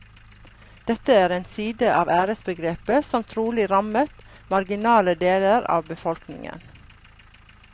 Dette er en side av æresbegrepet som trolig rammet marginale deler av befolkningen.